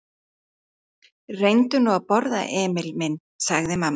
Reyndu nú að borða, Emil minn, sagði mamma.